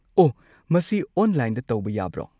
ꯑꯣ, ꯃꯁꯤ ꯑꯣꯟꯂꯥꯏꯟꯗ ꯇꯧꯕ ꯌꯥꯕ꯭ꯔꯣ?